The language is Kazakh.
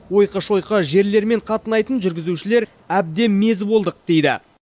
ойқы шойқы жерлермен қатынайтын жүргізушілер әбден мезі болдық дейді